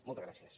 moltes gràcies